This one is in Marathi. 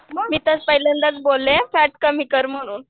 मी तर पहिल्यांदाच बोलले फॅट कमी कर म्हणून